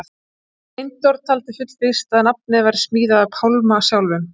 steindór taldi fullvíst að nafnið væri smíðað af pálma sjálfum